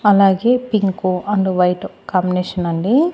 అలాగే pink and white combination అండి.